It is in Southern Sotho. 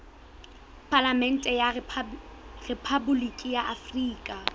palamente ya rephaboliki ya afrika